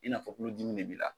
I n'a fɔ tulo dimi de b'i la